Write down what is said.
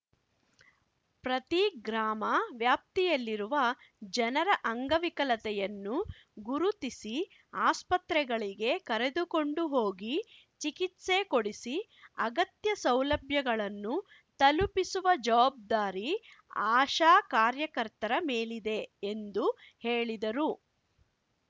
ಪ್ರತಿ ಗ್ರಾಮ ವ್ಯಾಪ್ತಿಯಲ್ಲಿರುವ ಜನರ ಅಂಗವಿಕಲತೆಯನ್ನು ಗುರುತಿಸಿ ಆಸ್ಪತ್ರೆಗಳಿಗೆ ಕರೆದುಕೊಂಡು ಹೋಗಿ ಚಿಕಿತ್ಸೆ ಕೊಡಿಸಿ ಅಗತ್ಯ ಸೌಲಭ್ಯಗಳನ್ನು ತಲುಪಿಸುವ ಜವಾಬ್ದಾರಿ ಆಶಾ ಕಾರ್ಯಕರ್ತರ ಮೇಲಿದೆ ಎಂದು ಹೇಳಿದರು